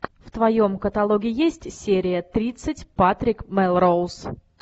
в твоем каталоге есть серия тридцать патрик мелроуз